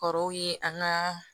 Kɔrɔw ye an ga